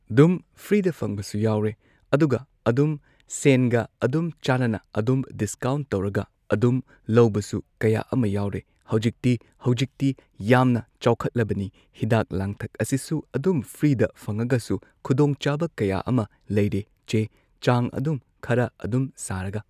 ꯗꯨꯝ ꯐ꯭ꯔꯤꯗ ꯐꯪꯕꯁꯨ ꯌꯥꯎꯔꯦ ꯑꯗꯨꯒ ꯑꯗꯨꯝ ꯁꯦꯟꯒ ꯑꯗꯨꯝ ꯆꯥꯅꯅ ꯑꯗꯨꯝ ꯗꯤꯁꯀꯥꯎꯟ ꯇꯧꯔꯒ ꯑꯗꯨꯝ ꯂꯧꯕꯁꯨ ꯀꯌꯥ ꯑꯃ ꯌꯥꯎꯔꯦ ꯍꯧꯖꯤꯛꯇꯤ ꯍꯧꯖꯤꯛꯇꯤ ꯌꯥꯝꯅ ꯆꯥꯎꯈꯠꯂꯕꯅꯤ ꯍꯤꯗꯥꯛ ꯂꯥꯡꯊꯛ ꯑꯁꯤꯁꯨ ꯑꯗꯨꯝ ꯐ꯭ꯔꯤꯗ ꯐꯪꯉꯒꯁꯨ ꯈꯨꯗꯣꯡꯆꯥꯕ ꯀꯌꯥ ꯑꯃ ꯂꯩꯔꯦ ꯆꯦ ꯆꯥꯡ ꯑꯗꯨꯝ ꯈꯔ ꯑꯗꯨꯝ ꯁꯥꯔꯒ